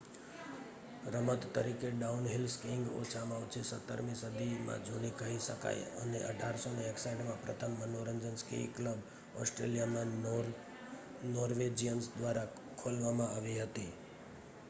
રમત તરીકે downhill skiing ઓછામાં ઓછી 17મી સદીમાં જૂની કહી શકાય અને 1861માં પ્રથમ મનોરંજન સ્કી ક્લબ ઓસ્ટ્રેલિયામાં નોર્વેજીયન્સ દ્વારા ખોલવામાં આવી હતી